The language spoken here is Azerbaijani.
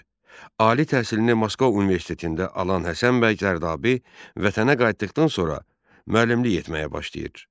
Ali təhsilini Moskva Universitetində alan Həsən bəy Zərdabi vətənə qayıtdıqdan sonra müəllimlik etməyə başlayır.